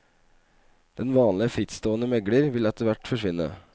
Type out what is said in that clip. Den vanlige frittstående megler vil etterhvert forsvinne.